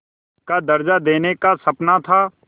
का दर्ज़ा देने का सपना था